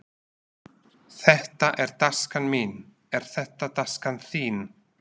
Þetta er taskan mín. Er þetta taskan þín?